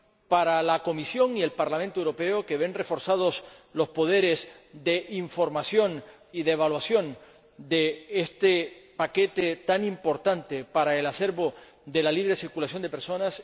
para la Comisión y el Parlamento Europeo, que ven reforzados los poderes de información y de evaluación de este paquete tan importante para el acervo de la libre circulación de personas